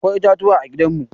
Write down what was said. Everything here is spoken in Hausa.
Akwai itatuwa a gidan mu.